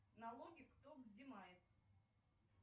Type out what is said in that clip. налоги кто взимает